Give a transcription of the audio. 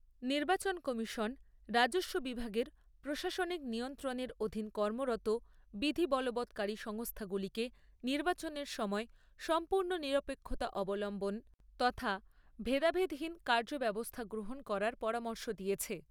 নির্বাচন কমিশন রাজস্ব বিভাগের প্রশাসনিক নিয়ন্ত্রণের অধীন কর্মরত বিধি বলবৎকারী সংস্থাগুলিকে নির্বাচনের সময় সম্পূর্ণ নিরপেক্ষতা অবলম্বন তথা ভেদাভেদহীন কার্যব্যবস্থা গ্রহণ করার পরামর্শ দিয়েছে।